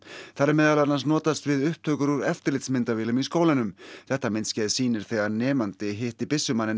þar er meðal annars notast við upptökur úr eftirlitsmyndavélum í skólanum þetta myndskeið sýnir þegar nemandi hitti